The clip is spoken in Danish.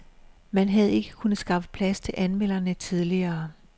Man havde ikke kunnet skaffe plads til anmelderne tidligere.